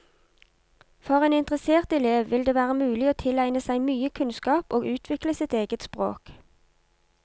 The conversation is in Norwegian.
For en interessert elev vil det være mulig å tilegne seg mye kunnskap og utvikle sitt eget språk.